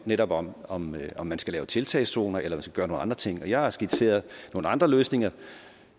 netop om om om man skal lave tiltagszoner eller skal gøre nogle andre ting jeg har skitseret nogle andre løsninger